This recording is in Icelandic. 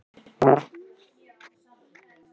Tilvera hans öll sökk í grængolandi djúpin köld.